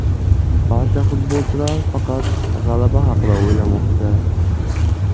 Barcha futbolchilar faqat g‘alaba haqida o‘ylamoqda.